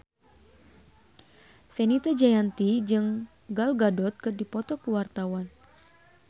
Fenita Jayanti jeung Gal Gadot keur dipoto ku wartawan